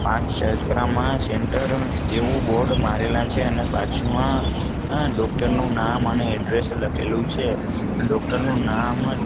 centre જેવુ board મારેલા છે અને બાજુમાં આ ડોક્ટર નુ નામ અને એડ્રેસ લખેલુ છે ડોક્ટર નુ નામ--